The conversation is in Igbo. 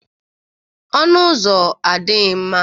Ọnụ ụzọ adịghị mma